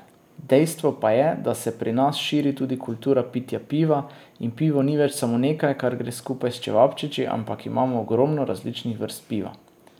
Dejstvo pa je, da se pri nas širi tudi kultura pitja piva in pivo ni več samo nekaj, kar gre skupaj s čevapčiči, ampak imamo ogromno različnih vrst piva.